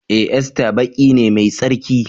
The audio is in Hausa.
E! Easter baki ne mai tsarki.